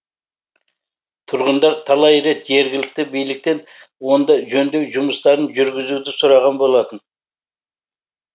тұрғындар талай рет жергілікті биліктен онда жөндеу жұмыстарын жүргізуді сұраған болатын